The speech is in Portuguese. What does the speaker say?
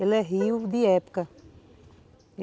Ele é rio de época.